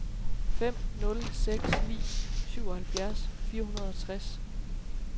fem nul seks ni syvoghalvfjerds fire hundrede og tres